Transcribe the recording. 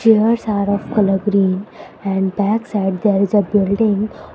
theres are of colour green and backs at there is a building.